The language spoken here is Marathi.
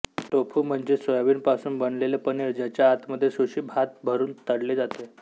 टोफू म्हणजे सोयाबीन पासून बनलेले पनीर ज्याच्या आत मध्ये सुशी भात भरून तळले जाते